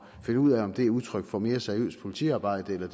finde ud af om det er udtryk for mere seriøst politiarbejde eller